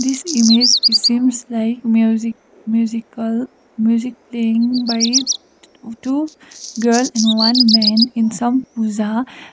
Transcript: this image is seems music musical music playing by t two girl and one men in some puja .